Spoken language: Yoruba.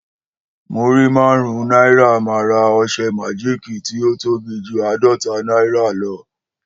Múrí márún náírà ma ra ọsẹ majiki tí o tóbi jù adọta náírà lọ